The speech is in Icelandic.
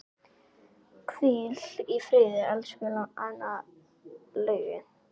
Hvíl í friði, elsku Laugi.